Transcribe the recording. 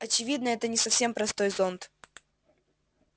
очевидно это не совсем простой зонт